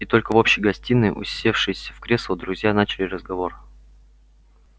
и только в общей гостиной усевшись в кресла друзья начали разговор